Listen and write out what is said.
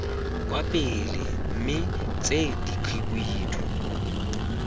kwa pele mme tse dikhibidu